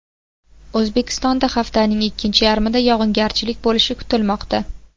O‘zbekistonda haftaning ikkinchi yarmida yog‘ingarchilik bo‘lishi kutilmoqda.